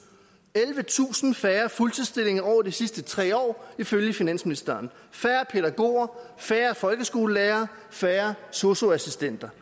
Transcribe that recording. ellevetusind færre fuldtidsstillinger over de sidste tre år ifølge finansministeren færre pædagoger færre folkeskolelærere færre sosu assistenter